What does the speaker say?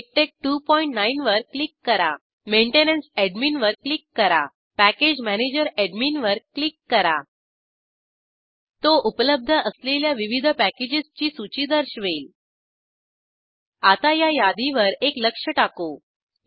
मिकटेक्स29 वर क्लिक करा maintenance admin वर क्लिक करा अॅडमिन पॅकेज मॅनेजर अॅडमिन वर क्लिक करा अॅडमिन तो उपलब्ध असलेल्या विविध पॅकेजेसची सूची दर्शवेल आता या यादीवर एक लक्ष टाकू